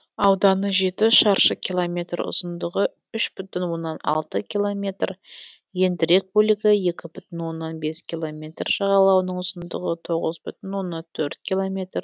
ауданы жеті шаршы километр ұзындығы үш бүтін оннан алты километр ендірек бөлігі екі бүтін оннан бес километр жағалауының ұзындығы тоғыз бүтін оннан төрт километр